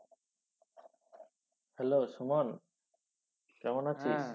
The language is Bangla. hello সুমন কেমন আছিস?